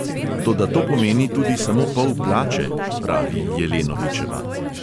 "Toda to pomeni tudi samo pol plače," pravi jelenovičeva.